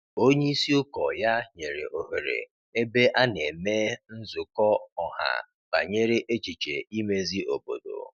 Onye isi ụkọ ya nyere ohere ebe a na emee nzukọ ọha banyere echiche imezi obodo.